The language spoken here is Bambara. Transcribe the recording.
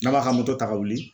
N'a m'a ka ta ka wuli.